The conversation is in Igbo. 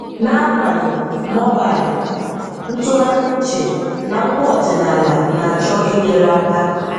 N’agbanyé, mobile ntụ̀gharị̀ uche na ngwà ọdị̀nàlà na-achọ̀ inyè̀rè aka.